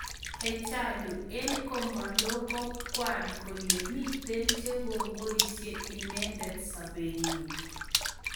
Hachalu: En komolo ko kwan kole miten che ko ngoisi inendet sopenyin